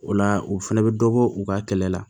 O la o fɛnɛ bɛ dɔbɔ u ka kɛlɛ la